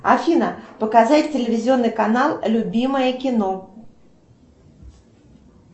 афина показать телевизионный канал любимое кино